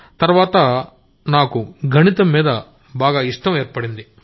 తర్వాత నాకు మ్యాథమెటిక్స్ మీద ఇష్టత ఏర్పడింది